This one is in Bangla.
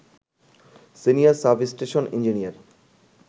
senior substation engineer